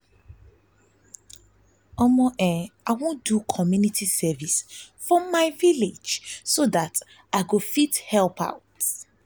i wan do community service for my village so dat i go fit help out